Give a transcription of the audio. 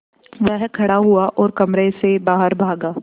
वह खड़ा हुआ और कमरे से बाहर भागा